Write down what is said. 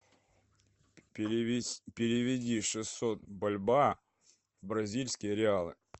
переведи шестьсот бальбоа в бразильские реалы